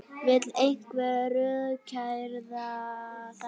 Vill einhver rökræða þetta?